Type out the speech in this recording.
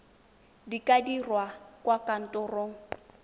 di ka dirwa kwa kantorong